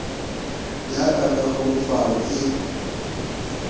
ya ka ka kglofalo e